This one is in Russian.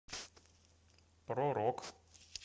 про рок